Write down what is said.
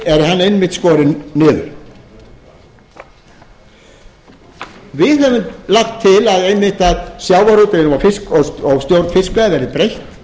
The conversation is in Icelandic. einmitt skorinn niður við höfum lagt til að einmitt sjávarútveginum og stjórn fiskveiða verði breytt